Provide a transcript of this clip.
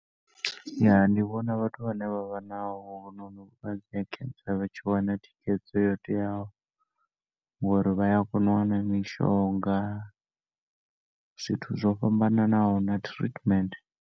Ya, ndi vhona vhathu vhane vha vha na hovhunoni vhulwadze ha cancer vhatshi wana thikhedzo yo teaho ngori vhaya kona u wana mishonga, zwithu zwo fhambananaho na treatment.